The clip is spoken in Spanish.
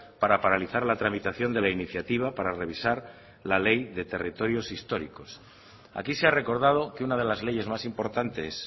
para paralizar la tramitación de la iniciativa para revisar la ley de territorios históricos aquí se ha recordado que una de las leyes más importantes